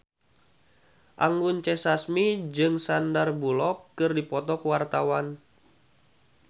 Anggun C. Sasmi jeung Sandar Bullock keur dipoto ku wartawan